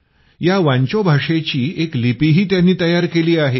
या वांचो भाषेची एक लिपीही त्यांनी तयार केली आहे